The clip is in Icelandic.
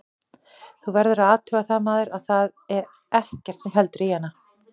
Þú verður að athuga það maður, að þar er ekkert sem heldur í hana.